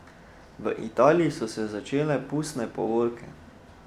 V Italiji so se začele pustne povorke.